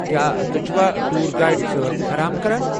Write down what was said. کیٛاہ تُہۍ چھۄٕ ٹور گایڈ ژٲر تہِ فراہم کران؟